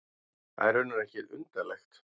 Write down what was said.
Það er raunar ekki undarlegt.